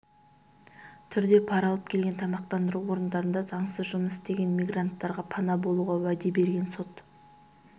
түрде пара алып келген тамақтандыру орындарында заңсыз жұмыс істеген мигранттарға пана болуға уәде берген сот